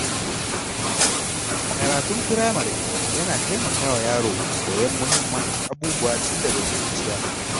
Karatun firamare yana taimakawa yaro koyon muhimman abubuwa tun daga ƙuruciya.